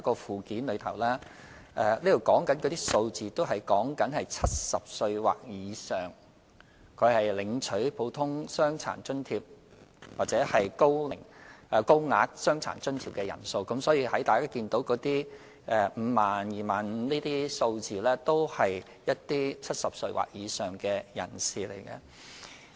附件提供的數字是指70歲或以上領取"普通傷殘津貼"和"高額傷殘津貼"的人數，所以，大家看到 50,000、25,000 等數字，都是指70歲或以上的長者。